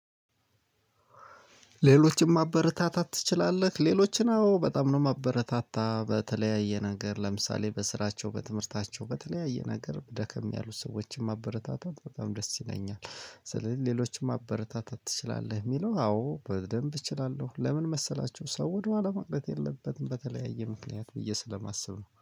ሌሎችን ማበረታታት ትችላለህ? ሌሎችን አው በጣም ነው ማበረታታ በተለያየ ነገር ለምሳሌ በስራቸው በትምህርታቸው በተለያየ ነገር ደከም ያሉ ሰዎችን ማበረታታት በጣም ደስ ይለኛል። ስለዚህ ሌሎችም ማበረታታት ትችላለህ? ሚለው አዎ በደንብ እችላለሁ። ለምን መሰላችሁ ሰው ወደኋላ መቅረት የለበትም በተለያየ ምክንያት ብዬ ስለማስብ ነው